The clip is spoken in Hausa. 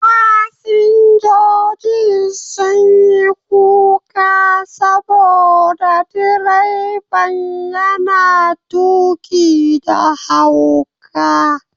Fasinjojin sun yi kuka saboda direban yana tuƙi da hauka.